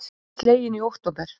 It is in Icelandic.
Túnin slegin í október